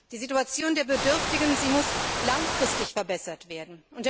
Die Situation der Bedürftigen muss langfristig verbessert werden.